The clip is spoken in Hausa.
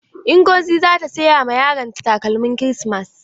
Ngozi za ta siy ma yaron ta takalmin kirismas.